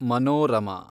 Manorama